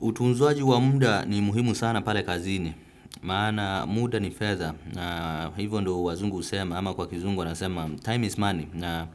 Utunzaji wa muda ni muhimu sana pale kazini maana muda ni fedha na hivyo ndio wazungu husema ama kwa kizungu wanasema time is money na